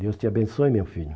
Deus te abençoe, meu filho.